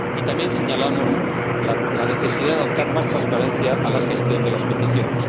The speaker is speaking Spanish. También señalamos la necesidad de dar más transparencia a la gestión de las peticiones.